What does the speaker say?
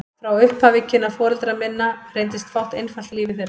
Frá upphafi kynna foreldra minna reyndist fátt einfalt í lífi þeirra.